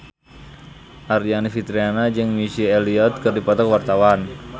Aryani Fitriana jeung Missy Elliott keur dipoto ku wartawan